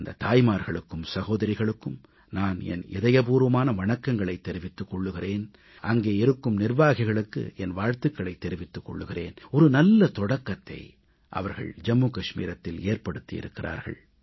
அந்தத் தாய்மார்களுக்கும் சகோதரிகளுக்கும் நான் என் இதயபூர்வமான வணக்கங்களைத் தெரிவித்துக் கொள்கிறேன் அங்கே இருக்கும் நிர்வாகிகளுக்கு என் வாழ்த்துகளைத் தெரிவித்துக் கொள்கிறேன் நல்ல தொடக்கத்தை அவர்கள் ஏற்படுத்தி இருக்கிறார்கள்